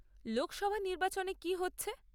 লোকসভা নির্বাচনে কী হচ্ছে?